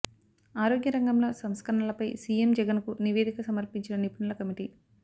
ఆరోగ్య రంగంలో సంస్కరణలపై సీఎం జగన్ కు నివేదిక సమర్పించిన నిపుణుల కమిటీ